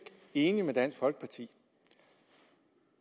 enig med dansk folkeparti i